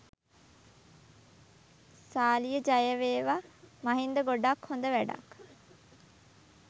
සාලිය ජයවේවා මහින්ද ගොඩක් හොද වැඩක්.